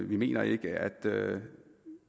vi mener ikke at